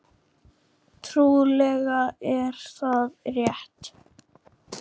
Trúlega er það rétt.